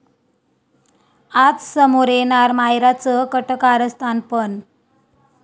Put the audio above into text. आज समोर येणार मायराचं कट कारस्थान पण...